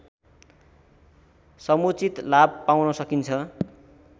समुचित लाभ पाउन सकिन्छ